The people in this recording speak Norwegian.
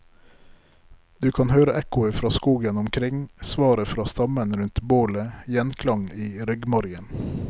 Du kan høre ekkoet fra skogen omkring, svaret fra stammen rundt bålet, gjenklang i ryggmargen.